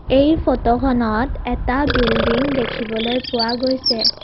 এই ফটোখনত এটা বিল্ডিং দেখিবলৈ পোৱা গৈছে।